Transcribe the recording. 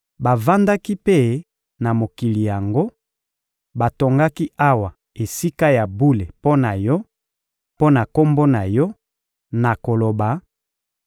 Bavandaki mpe na mokili yango, batongaki awa Esika ya bule mpo na Yo, mpo na Kombo na Yo, na koloba: